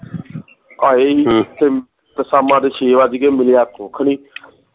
ਆਏ ਹੀ ਤੇ ਸ਼ਾਮਾਂ ਦੇ ਵੱਜ ਗੇ ਮਿਲਿਆ ਕੁਖ ਨੀ